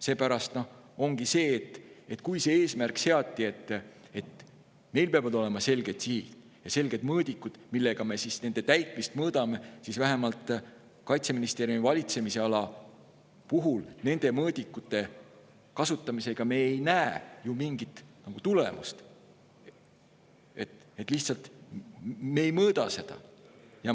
Seepärast ongi nii, et kui seati selline eesmärk, et meil peavad olema selged sihid ja selged mõõdikud, millega me nende täitmist mõõdame, siis vähemalt Kaitseministeeriumi valitsemisala puhul, nende mõõdikute kasutamise puhul me ei näe ju mingit nagu tulemust, lihtsalt me ei mõõda seda.